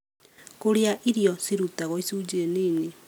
kũrĩa irio cirutagwo icunjĩ nini